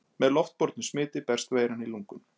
Með loftbornu smiti berst veiran í lungun.